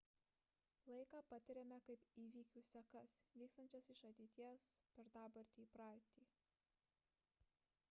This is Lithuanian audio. laiką patiriame kaip įvykių sekas vykstančias iš ateities per dabartį į praeitį